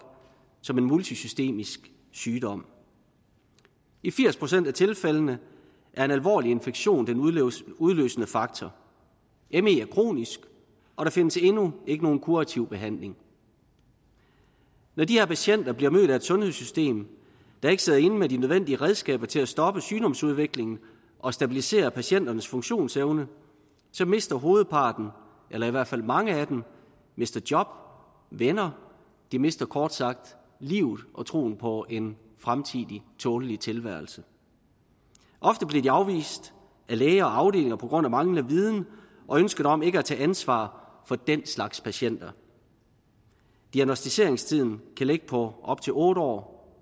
som en multisystemisk sygdom i firs procent af tilfældene er en alvorlig infektion den udløsende faktor me me er kronisk og der findes endnu ikke nogen kurativ behandling når de her patienter bliver mødt af et sundhedssystem der ikke sidder inde med de nødvendige redskaber til at stoppe sygdomsudviklingen og stabilisere patienternes funktionsevne så mister hovedparten eller i hvert fald mange af dem job og venner de mister kort sagt livet og troen på en fremtidig tålelig tilværelse ofte bliver de afvist af læger og afdelinger på grund af manglende viden og ønsket om ikke at tage ansvar for den slags patienter diagnosticeringstiden kan ligge på op til otte år